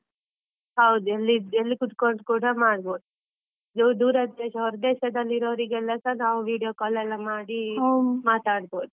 ಹೌದು ಎಲ್~ಎಲ್ಲಿ ಕೂತ್ಕೊಂಡ್ ಕೂಡ ಮಾಡ್ಬೋದು. ದೂರ ಹೊರದೇಶದಲ್ಲಿರೋರಿಗೆಲ್ಲಸ ನಾವು video call ಎಲ್ಲ ಮಾಡಿ ಮಾತಾಡ್ಬೋದು.